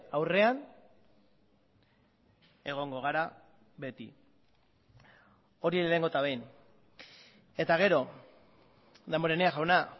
aurrean egongo gara beti hori lehenengo eta behin eta gero damborenea jauna